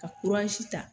Ka ta